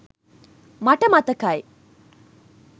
මට මතකයි